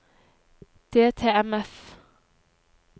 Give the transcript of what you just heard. DTMF